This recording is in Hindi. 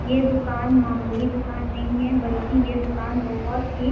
ये दुकान मामुली दुकान नहीं है बल्कि यह दुकान बहोत ही --